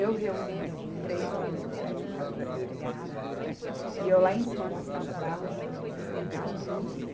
Eu reuni três homens do prédio que estavam desempregados e eu lá em cima nas caixas d'água ajudando eles limpar tudo.